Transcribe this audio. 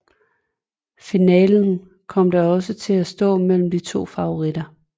Finalen kom da også til at stå imellem de to favoritter